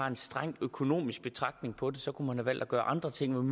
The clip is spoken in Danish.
en streng økonomisk betragtning på det kunne man have valgt at gøre andre ting